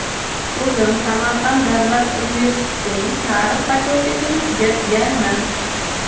O‘zim Samarqand davlat universitetining tarix fakultetini tugatganman.